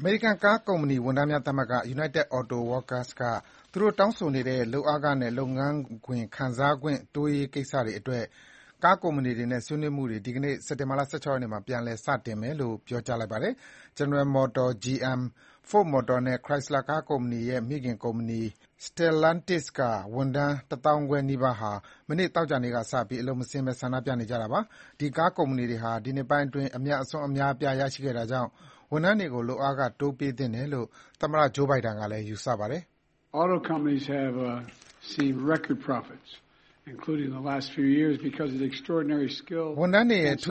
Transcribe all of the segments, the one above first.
အမေရိကန် ကားကုမ္ပဏီဝန်ထမ်းများသမဂ္ဂ (United Auto Workers-UAW) က သူတို့တောင်းဆိုနေတဲ့ လုပ်အားခနဲ့ လုပ်ငန်းခွင်ခံစားခွင့် တိုးရရေးကိစ္စတွေအတွက် ကားကုမ္ပဏီတွေနဲ့ ဆွေးနွေးမှုတွေ ဒီကနေ့ စက်တင်ဘာ ၁၆ ရက်နေ့မှာ ပြန်လည် စတင်မယ်လို့ ပြောပါတယ်။ General Motors (GM) ၊ Ford Motor နဲ့ Chrysler ကားလုပ်ငန်းရဲ့ မိခင်ကုမ္ပဏီ Stellantis ကဝန်ထမ်း တသောင်းခွဲနီးပါးဟာ မနေ့ သောကြာနေ့ကစပြီး အလုပ်မဆင်းဘဲ ဆန္ဒပြနေကြတာပါ။ ဒီ ကားကုမ္ပဏီတွေဟာ ဒီနှစ်ပိုင်းအတွင်း အမြတ်အစွန်း အများအပြား ရရှိခဲ့တာကြောင့် ဝန်ထမ်းတွေကို လုပ်အားခ တိုးပေးသင့်တယ်လို့ သမ္မတ Joe Biden ကလည်း ယူဆပါတယ်။ “ဝန်ထမ်းတွေရဲ့ ထူ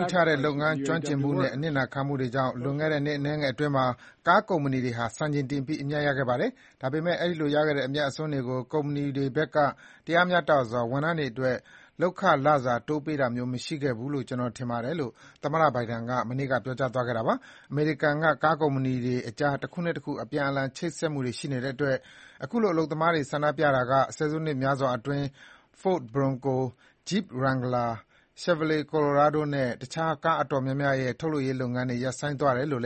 းခြားတဲ့ လုပ်ငန်းကျွမ်းကျင်မှုနဲ့ အနစ်နာခံခဲ့မှုတွေကြောင့် လွန်ခဲ့တဲ့ နှစ်အနည်းအတွင်းမှာ ကားကုမ္ပဏီတွေဟာ စံချိန်တင်ပြီး အမြတ်ရခဲ့ကြပါတယ်။ ဒါပေမယ့် အဲဒီလို ရခဲ့တဲ့ အမြတ်အစွန်းတွေကို ကုမ္ပဏီတွေဘက်က တရားမျှတစွာ ဝန်ထမ်းတွေအတွက် လုပ်ခလစာ တိုးပေးတာမျိုး မရှိခဲ့ဘူးလို့ ကျနော်ထင်ပါတယ်” - လို့ သမ္မတ Biden က မနေ့ သောကြာနေ့မှာ ပြောခဲ့တာပါ။ အမေရိကန်က ကားကုမ္ပဏီတွေအကြား တခုနဲ့ တခု အပြန်အလှန် ချိတ်ဆက်မှုတွေရှိနေတဲ့အတွက် အခုလို အလုပ်သမားတွေ ဆန္ဒပြမှုကြောင့် ဆယ်စုနှစ်များစွာအတွင်း Ford Bronco ၊ Jeep Wrangler ၊ Chevrolet Colorado နဲ့ တခြား ကားအတော်များများရဲ့ ထုတ်လုပ်ရေးလုပ်ငန်းတွေ ရပ်ဆိုင်းသွားတယ်လို့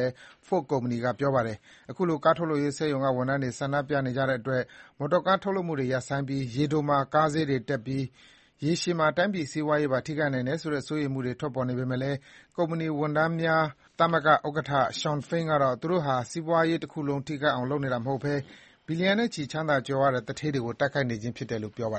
Ford ကုမ္ပဏီက ပြောပါတယ်။ အခုလို ကားထုတ်လုပ်ရေးစက်ရုံတွေက ဝန်ထမ်းတွေ ဆန္ဒပြနေကြတဲ့အတွက် မော်တော်ကားထုတ်လုပ်မှုတွေ ရပ်ဆိုင်းပြီး ရေတိုမှာ ကားဈေးတွေတက်ပြီး၊ ရေရှည်မှာ တိုင်းပြည် စီးပွားရေးပါ ထိခိုက်နိုင်တယ်ဆိုတဲ့ စိုးရိမ်မှုတွေ ထွက်ပေါ်နေပေမယ့် ကားကုမ္ပဏီ ဝန်ထမ်းများသမဂ္ဂဥက္ကဌ Shawn Fain ကတော့ သူတို့ဟာ စီးပွားရေးတခုလုံး ထိခိုက်အောင် လုပ်နေတာမဟုတ်ဘဲ ဘီလီယံနဲ့ချီ ချမ်းသာ ကြွယ်ဝကြတဲ့ သူဌေးတွေကို တိုက်ခိုက်နေခြင်းဖြစ်တယ်လို့ ပြောပါ